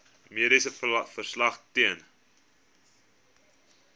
mediese verslag ten